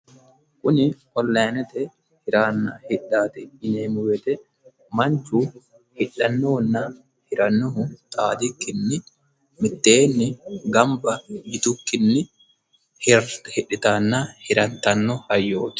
Kuni onlinete hiranna hidhaati yineemo woyte manichu hidhannohunna hirannohu xaadikkini miteenni ganibba yitukkini hidhitanna hirittanno hayyooti.